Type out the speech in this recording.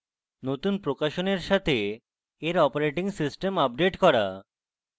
নতুন প্রকাশনের সাথে এর operating system আপডেট করা